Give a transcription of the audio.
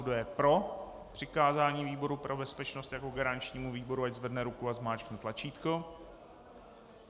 Kdo je pro přikázání výboru pro bezpečnost jako garančnímu výboru, ať zvedne ruku a zmáčkne tlačítko.